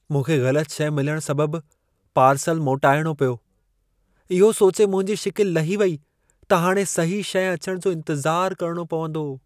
मूंखे ग़लति शइ मिलण सबबु पार्सलु मोटाइणो पियो। इहो सोचे मुंहिंजी शिकिल लही वेई त हाणे सही शइ अचण जो इंतज़ार करणो पवंदो।